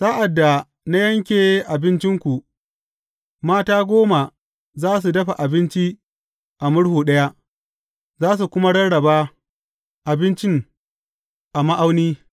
Sa’ad da na yanke abincinku, mata goma za su dafa abinci a murhu ɗaya, za su kuma rarraba abincin a ma’auni.